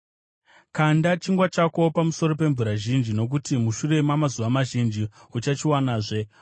Kanda chingwa chako pamusoro pemvura zhinji, nokuti mushure mamazuva mazhinji uchachiwanazve.